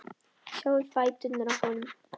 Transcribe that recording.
Sjáiði fæturna á honum.